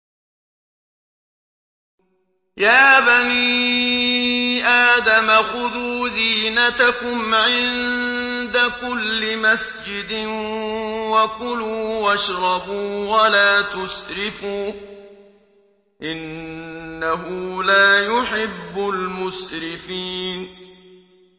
۞ يَا بَنِي آدَمَ خُذُوا زِينَتَكُمْ عِندَ كُلِّ مَسْجِدٍ وَكُلُوا وَاشْرَبُوا وَلَا تُسْرِفُوا ۚ إِنَّهُ لَا يُحِبُّ الْمُسْرِفِينَ